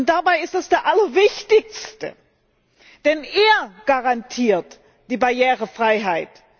Dabei ist das der allerwichtigste Teil, denn er garantiert die Barrierefreiheit.